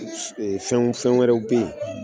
Fɛn fɛn wɛrɛw be yen